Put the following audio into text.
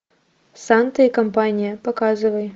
санта и компания показывай